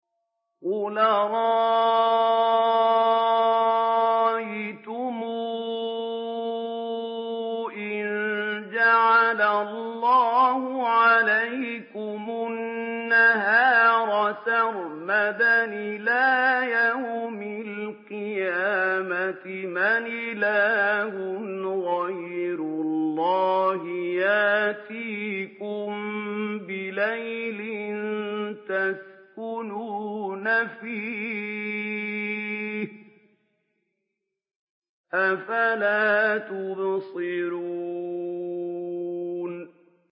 قُلْ أَرَأَيْتُمْ إِن جَعَلَ اللَّهُ عَلَيْكُمُ النَّهَارَ سَرْمَدًا إِلَىٰ يَوْمِ الْقِيَامَةِ مَنْ إِلَٰهٌ غَيْرُ اللَّهِ يَأْتِيكُم بِلَيْلٍ تَسْكُنُونَ فِيهِ ۖ أَفَلَا تُبْصِرُونَ